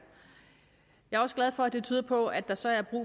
jeg er også glad for at det tyder på at der så i